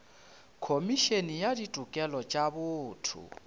khomišene ya ditokelo tša botho